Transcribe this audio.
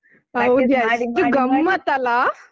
ಹೌದು ಎಷ್ಟು ಗಮ್ಮತ್ ಅಲ್ಲಾ?